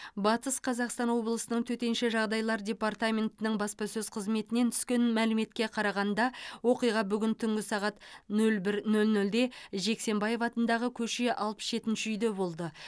батыс қазақстан облысының төтенше жағыдайлар департаментінің баспасөз қызметінен түскен мәліметке қарағанда оқиға бүгін түнгі сағат нөл бір нөл нөлде жексенбаев атындағы көше алпыс жетінші үйде болды